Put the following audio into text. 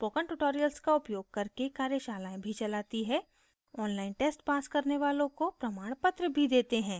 spoken tutorials का उपयोग करके कार्यशालाएँ भी चलाती है online test pass करने वालों को प्रमाणपत्र भी देते हैं